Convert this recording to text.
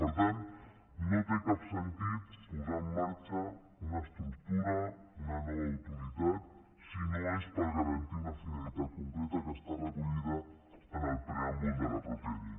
per tant no té cap sentit posar en marxa una estructura una nova autoritat si no és per garantir una finalitat concreta que està recollida en el preàmbul de la mateixa llei